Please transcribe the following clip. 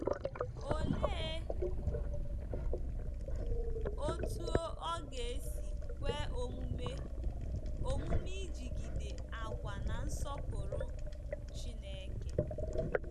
Olee otú ọ ga-esi kwe omume omume ịjigide àgwà na-nsọpụrụ Chineke?